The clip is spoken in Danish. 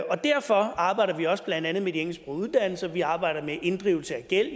og derfor arbejder vi også blandt andet med de engelsksprogede uddannelser vi arbejder med inddrivelse af gæld